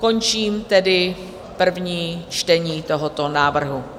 Končím tedy první čtení tohoto návrhu.